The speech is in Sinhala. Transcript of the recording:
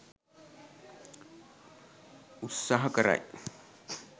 උත්සහ කරයි.